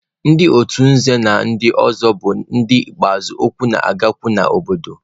Ndị otu nze na ndị ọzọ bụ ndị ikpeazụ okwu na-agakwu n'obodo.